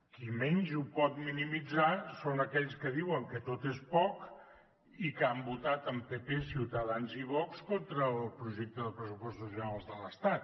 qui menys ho pot minimitzar són aquells que diuen que tot és poc i que han votat amb pp ciutadans i vox contra el projecte de pressupostos generals de l’estat